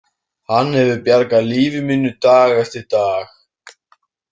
Hann hefur bjargað lífi mínu dag eftir dag.